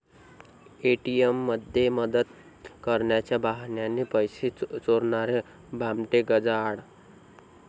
एटीएममध्ये मदत करण्याच्या बहाण्याने पैसे चोरणारे भामटे गजाआड